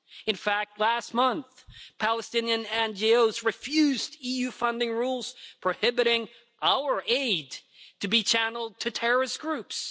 In fact, last month, Palestinian NGOs refused EU funding rules prohibiting our aid to be channelled to terrorist groups.